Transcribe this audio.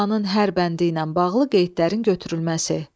Planın hər bəndi ilə bağlı qeydlərin götürülməsi.